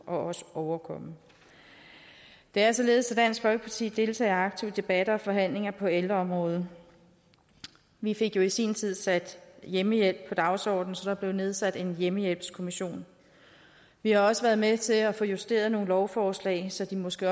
også overkomme det er således at dansk folkeparti deltager aktivt i debatter og forhandlinger på ældreområdet vi fik jo i sin tid sat hjemmehjælp på dagsordenen så der blev nedsat en hjemmehjælpskommission vi har også været med til at få justeret nogle lovforslag så de måske